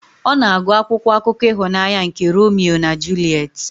Ọ na-agụ akwụkwọ akụkọ ịhụnanya nke Romeo na Juliet.